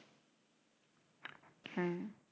হ্যাঁ